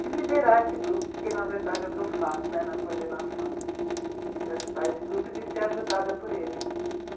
de liderar esse grupo, porque, na verdade, é o que eu faço, né, na coordenação, de ajudar esse grupo e de ser ajudada por ele.